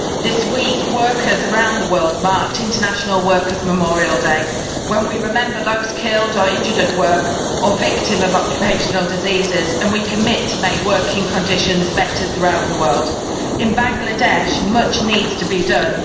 This week workers around the world marked International Workers' Memorial Day, when we remember those killed or injured at work or victims of occupational diseases, and we commit to make working conditions better throughout the world. In Bangladesh much needs to be done.